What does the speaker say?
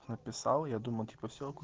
написал я думал типа всё